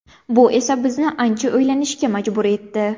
Bu esa bizni ancha o‘ylanishga majbur etdi.